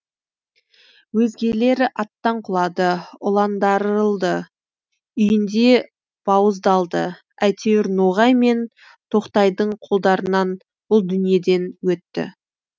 өзгелері аттан құлады уландарылды үйінде бауыздалды әйтеуір ноғай мен тоқтайдың қолдарынан бұл дүниеден өтті